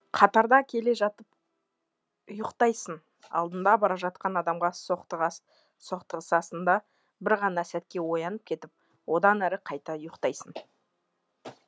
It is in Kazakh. қатарда келе жатып ұйқтайсың алдыңда бара жатқан адамға соқтығысасың да бір ғана сәтке оянып кетіп одан әрі қайта ұйқтайсың